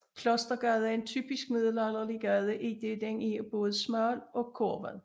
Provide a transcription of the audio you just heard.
Klostergade er en typisk middelalderlig gade idet den er både smal og kurvet